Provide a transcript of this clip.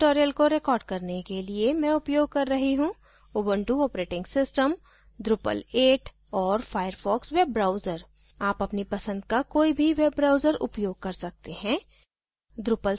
इस tutorial को record करने के लिए मैं उपयोग कर रही हूँ ubuntu operating system drupal 8 और firefox वेब ब्राउज़र आप अपनी पसंद का कोई भी वेब ब्राउज़र उपयोग कर सकते हैं